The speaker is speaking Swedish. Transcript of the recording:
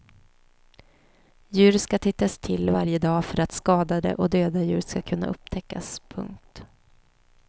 Djur ska tittas till varje dag för att skadade och döda djur ska kunna upptäckas. punkt